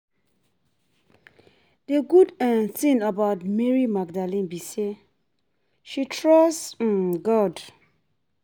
The good um thing about Mary Magdalene be say she trust um God